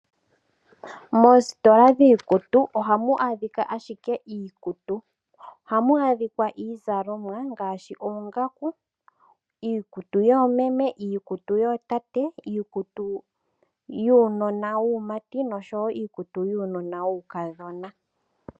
Moositola dhiikutu ohamu adhika ashike iikutu. Ohamu adhika iizalomwa ngaashi oongaku, iikutu yoomeme, iikutu yootate, iikutu yuunona wuumati noshowo iikutu yuunona wuukadhona.